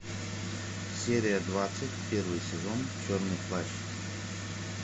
серия двадцать первый сезон черный плащ